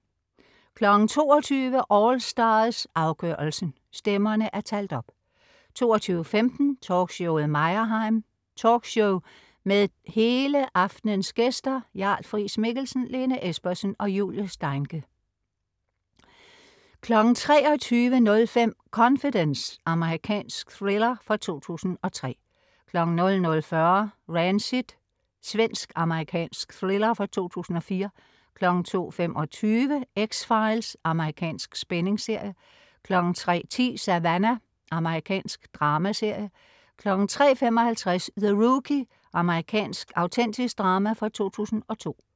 22.00 AllStars - afgørelsen. Stemmerne er talt op 22.15 Talkshowet Meyerheim. Talkshow med det hele aftens gæster: Jarl Friis-Mikkelsen, Lene Espersen og Julie Steincke 23.05 Confidence. Amerikansk thriller fra 2003 00.40 Rancid. Svensk-amerikansk thriller fra 2004 02.25 X-Files. Amerikansk spændingsserie 03.10 Savannah. Amerikansk dramaserie 03.55 The Rookie. Amerikansk autentisk drama fra 2002